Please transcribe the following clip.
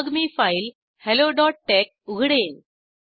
मग मी फाईल helloटेक्स उघडेन